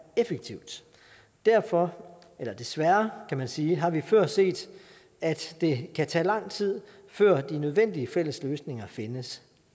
effektivt derfor eller desværre kan man sige har vi før set at det kan tage lang tid før de nødvendige fælles løsninger findes